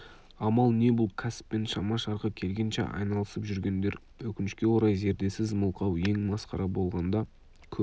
амал не бұл кәсіппен шама-шарқы келгенше айналысып жүргендер өкінішке орай зердесіз мылқау ең масқара болғанда көр